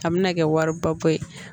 A bɛna kɛ wari ba bɔ ye